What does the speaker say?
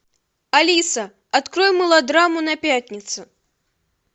алиса открой мелодраму на пятницу